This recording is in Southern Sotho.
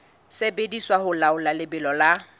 sebediswa ho laola lebelo la